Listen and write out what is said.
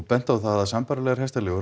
bent á að sambærilegar hestaleigur